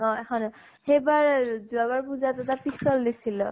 অ এখনে সেইবাৰ যোৱাবাৰ পুজাতো তাক pistol দিছিলো